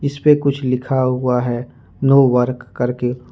इस पे कुछ लिखा हुआ है नो वर्क करके।